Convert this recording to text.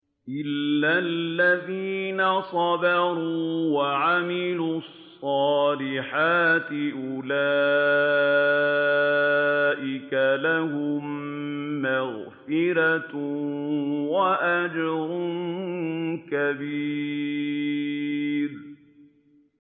إِلَّا الَّذِينَ صَبَرُوا وَعَمِلُوا الصَّالِحَاتِ أُولَٰئِكَ لَهُم مَّغْفِرَةٌ وَأَجْرٌ كَبِيرٌ